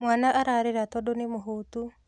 Mwana ararĩra tondũ nĩ mũhũtu.